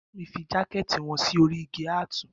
Bàámi fi jàkẹtì wọn si òri ìgí àtú